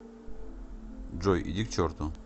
джой иди к черту